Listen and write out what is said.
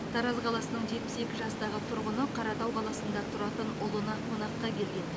тараз қаласының жетпіс екі жастағы тұрғыны қаратау қаласында тұратын ұлына қонаққа келген